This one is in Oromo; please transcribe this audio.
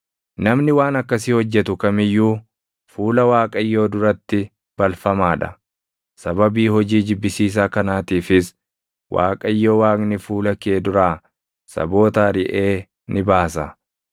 Namni waan akkasii hojjetu kam iyyuu fuula Waaqayyoo duratti balfamaa dha; sababii hojii jibbisiisaa kanaatiifis Waaqayyo Waaqni fuula kee duraa saboota ariʼee ni baasa.